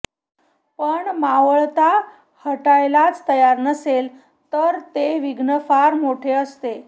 पण मावळता हटायलाच तयार नसेल तर ते विघ्न फार मोठे असते